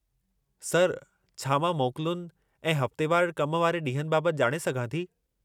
Sir, छा मां मोकलुनि ऐं हफ़्तेवारु कम वारे ॾींहनि बाबति ॼाणे सघां थी?